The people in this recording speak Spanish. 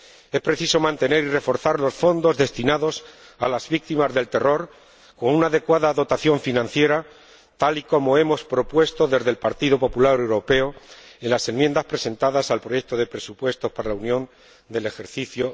Es preciso mantener y reforzar los fondos destinados a las víctimas del terror con una adecuada dotación financiera, tal y como hemos propuesto desde el Partido Popular Europeo en las enmiendas presentadas al proyecto de presupuesto para la Unión del ejercicio